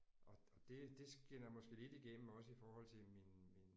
Og det det skinner måske lidt igennem også i forhold til min min